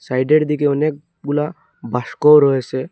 সাইডের দিকে অনেকগুলা বাসকোও রয়েসে ।